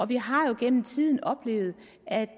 vi har jo gennem tiden oplevet at